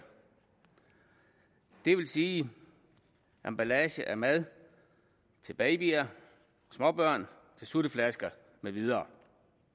det vil sige emballager af mad til babyer småbørn til sutteflasker med videre